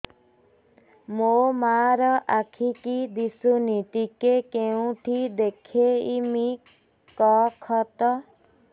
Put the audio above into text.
ମୋ ମା ର ଆଖି କି ଦିସୁନି ଟିକେ କେଉଁଠି ଦେଖେଇମି କଖତ